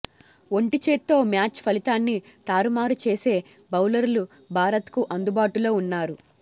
ఒంటిచేత్తో match ఫలితాన్ని తారుమారు చేసే బౌలర్లు భారత్కు అందుబాటులో ఉన్నారు